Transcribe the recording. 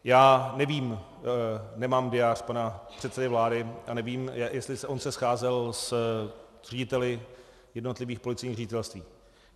Já nevím, nemám diář pana předsedy vlády a nevím, jestli on se scházel s řediteli jednotlivých policejních ředitelství.